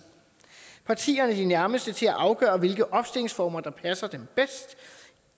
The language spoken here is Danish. partierne er de nærmeste til at afgøre hvilke opstillingsformer der passer dem bedst